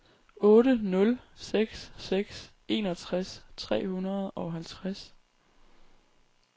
otte nul seks seks enogtres tre hundrede og halvtreds